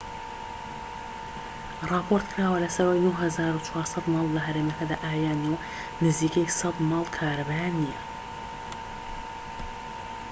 راپۆرتکراوە لەسەر ئەوەی ٩٤٠٠ ماڵ لە هەرێمەکەدا ئاویان نیە و نزیکەی ١٠٠ ماڵ کارەبایان نیە